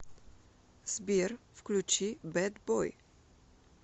сбер включи бэд бой